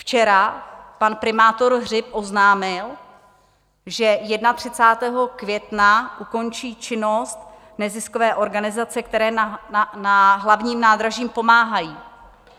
Včera pan primátor Hřib oznámil, že 31. května ukončí činnost neziskové organizace, které na Hlavním nádraží pomáhají.